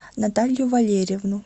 наталью валерьевну